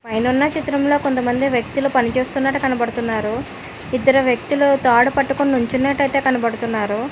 పైనున్న చిత్రంలో కొంతమంది వ్యక్తులు పనిచేస్తున్నట్టు కనబడుతున్నారు ఇద్దురు వ్యక్తులు తాడు పట్టుకుని నుంచునట్టయితే కనపడుతున్నారు.